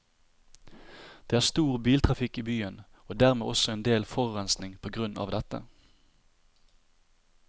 Det er stor biltrafikk i byen, og dermed også en del forurensning på grunn av dette.